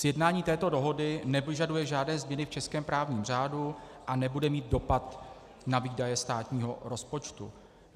Sjednání této dohody nepožaduje žádné změny v českém právním řádu a nebude mít dopad na výdaje státního rozpočtu.